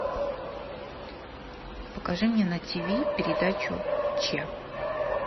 покажи мне на тиви передачу че